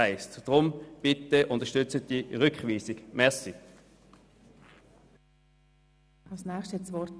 Deshalb bitte ich Sie, diese Rückweisung zu unterstützen.